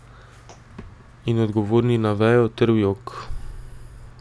In odgovorni na vejo ter v jok.